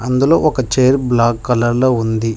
అందులో ఒక chair black colour లో ఉంది.